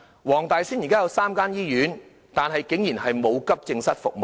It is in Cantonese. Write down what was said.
黃大仙區現時有3間醫院，但竟然都沒有提供急症室服務。